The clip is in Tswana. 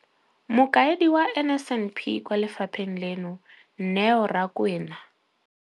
Mokaedi wa NSNP kwa lefapheng leno, Neo Rakwena,